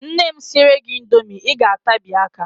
Nne m siere gị indomi, Ị ga-atabi aka.